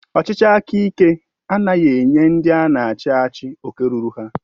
Ọchịchị aka ike anaghị enye ndị ana achị achị oke rụrụ ha.